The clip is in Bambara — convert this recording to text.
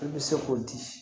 I bɛ se k'o di